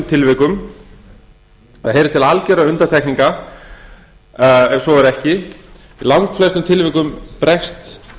tilvikum það heyrir til algjörra undantekninga ef svo er ekki í langflestum tilvikum bregst